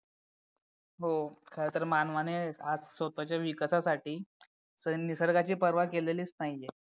हो खरं तर मानवाने आज स्वतःच्या विकासासाठी निसर्गाची परवा केलेलीच नाही आहे